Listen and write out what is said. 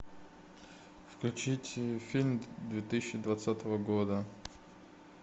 включить фильм две тысячи двадцатого года